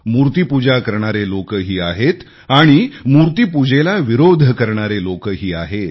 मूर्तीपूजा करणारे लोकही आहेत आणि मूर्तीपूजेला विरोध करणारे लोकही आहेत